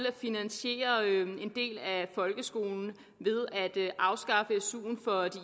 at finansiere en del af folkeskolen ved at afskaffe su’en for de